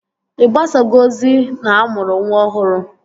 Ị gbasago ozi na-amụrụ nwa ọhụrụ?